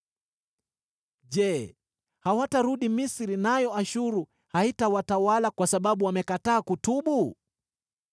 “Je, hawatarudi Misri, nayo Ashuru haitawatawala kwa sababu wamekataa kutubu?